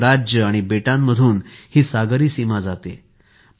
अनेक राज्य आणि बेटांमधून हि सागरी सीमा जाते